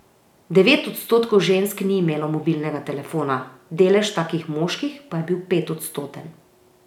Devet odstotkov žensk ni imelo mobilnega telefona, delež takih moških pa je bil petodstoten.